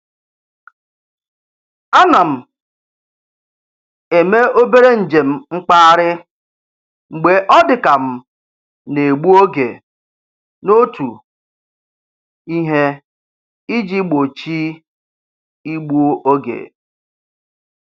A na m eme obere njem mkpagharị mgbe ọ dị ka m na-egbu oge n'otu ihe iji gbochi igbu oge.